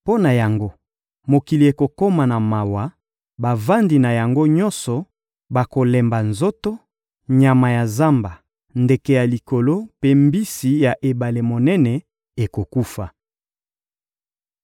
Mpo na yango, mokili ekokoma na mawa, bavandi na yango nyonso bakolemba nzoto, nyama ya zamba, ndeke ya likolo mpe mbisi ya ebale monene ekokufa.